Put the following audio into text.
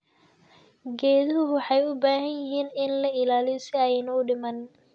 Geeduhu waxay u baahan yihiin in la ilaaliyo si aanay u dhiman.